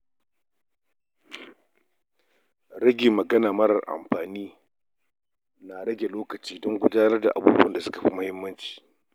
Taƙaita magana mara amfani na rage lokaci don gudanar da ayyukan da suka fi muhimmanci.